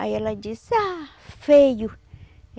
Aí ela disse, ah, feio!